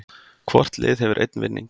Hvort lið hefur einn vinning